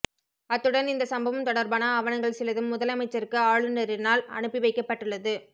அத்துடன் இந்த சம்பவம் தொடர்பான ஆவணங்கள் சிலதும் முதலமைச்சருக்கு ஆளுனரினால் அனுப்பி வைக்கப்பட்டுள்ளது